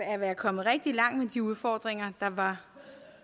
at være kommet rigtig langt med de udfordringer der var